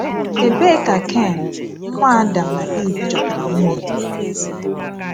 Ebee ka Ken, nwa Adam na Iv, chọtara nwunye ya?